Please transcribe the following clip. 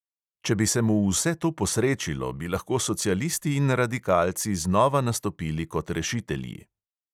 Če bi se mu vse to posrečilo, bi lahko socialisti in radikalci znova nastopili kot rešitelji.